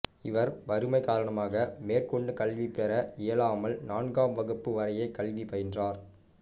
இவர் வறுமை காரணமாக மேற்கொண்டு கல்வி பெற இயலாமல் நான்காம் வகுப்பு வரையே கல்வி பயின்றார்